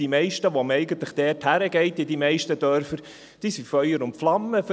Die meisten, zu denen man in die Dörfer geht, sind Feuer und Flamme dafür.